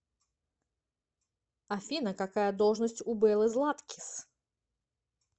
афина какая должность у беллы златкис